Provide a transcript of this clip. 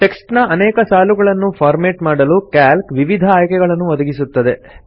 text ನ ಅನೇಕ ಸಾಲುಗಳನ್ನು ಫಾರ್ಮೆಟ್ ಮಾಡಲು ಕ್ಯಾಲ್ಕ್ ವಿವಿಧ ಆಯ್ಕೆಗಳನ್ನು ಒದಗಿಸುತ್ತದೆ